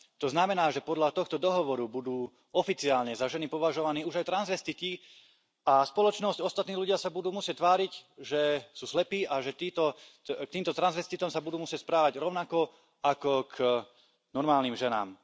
To znamená, že podľa tohto dohovoru budú oficiálne za ženy považovaní už aj transvestiti a spoločnosť a ostatní ľudia sa budú musieť tváriť, že sú slepí, a k týmto transvestitom sa budú musieť správať rovnako ako k normálnym ženám.